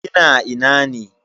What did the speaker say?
Kina ina ne?